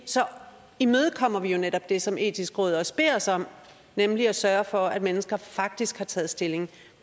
så imødekommer vi jo netop det som det etiske råd også beder os om nemlig at sørge for at mennesker faktisk har taget stilling